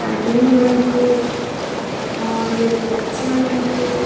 आदमी मन हे और बच्चा मन हे।